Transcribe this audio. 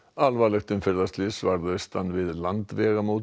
alvarlegt umferðarslys varð austan við Landvegamót